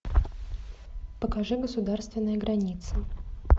покажи государственная граница